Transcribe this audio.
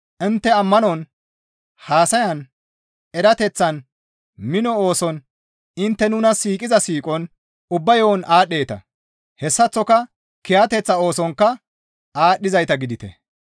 Intte ammanon, haasayan, erateththan, mino ooson, intte nuna siiqiza siiqon, ubba yo7on aadhdheeta; hessaththoka kiyateththa oosonkka aadhdhizayta gidite.